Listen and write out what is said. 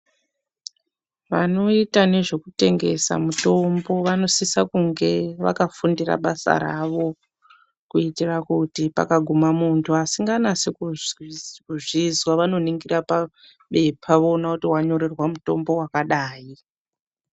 Vanoita nezvekutengesa mutombo vanosise kunge vakafundira basa ravo kuitira kuti pakagume munhu asinganasi kuzvizwa vanoningira pabepa voona kuti wanyorerwa mutombo wakadayi.